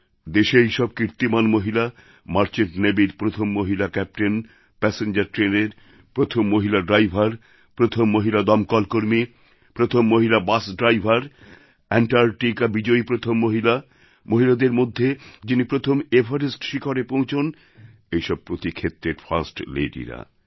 দেশে এইসব কীর্তিমান মহিলা মার্চেন্ট নেভির প্রথম মহিলা ক্যাপ্টেন প্যাসেঞ্জার ট্রেনের প্রথম মহিলা ড্রাইভার প্রথম মহিলা দমকলকর্মী প্রথম মহিলা বাস ড্রাইভার অ্যাণ্টার্টিকা বিজয়ী প্রথম মহিলা মহিলাদের মধ্যে যিনি প্রথম এভারেস্ট শিখরে পৌঁছান এইরকম প্রতি ক্ষেত্রের ফার্স্ট লেডিরা